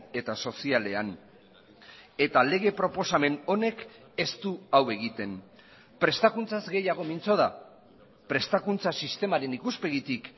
eta sozialean eta lege proposamen honek ez du hau egiten prestakuntzaz gehiago mintzo da prestakuntza sistemaren ikuspegitik